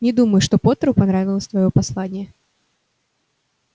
не думаю что поттеру понравилось твоё послание